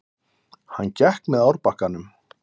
Hann gekk með árbakkanum.